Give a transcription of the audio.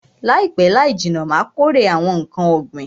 Laipe laijinna Ma kórè awon nkan ogbin